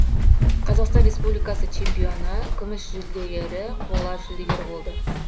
қазақстан респбуликасы чемпионы күміс жүлдегері қола жүлдегері болды